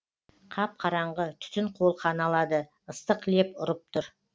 қап қараңғы түтін қолқаны алады ыстық леп ұрып тұр